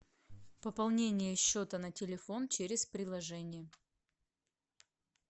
пополнение счета на телефон через приложение